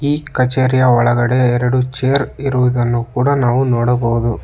ಈ ಕಚೇರಿಯ ಒಳಗೆಡೆ ಎರಡು ಚೇರ್ ಇರುವುದನ್ನು ಕೂಡ ನಾವು ನೋಡಬಹುದು.